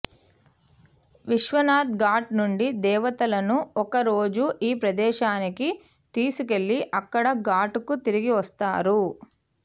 విశ్వనాథ్ ఘాట్ నుండి దేవతను ఒక రోజు ఈ ప్రదేశానికి తీసుకెళ్ళి అక్కడ ఘాట్ కు తిరిగి వస్తారు